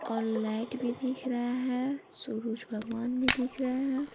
और लाइट भी दिख रहा है सूरज भगवान भी दिख रहे है।